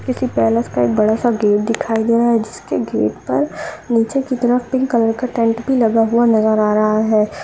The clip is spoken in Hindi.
किसी पैलेस का एक बड़ा सा गेट दिखाई दे रहा है जिसके गेट पर नीचे की तरफ पिंक कलर का टेंट भी लगा हुआ नज़र आ रहा है।